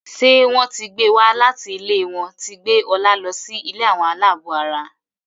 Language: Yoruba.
ṣe wón tí gbé wá láti ilé wón tí gbé Ola ló sì ilé Àwọn alabó àrà.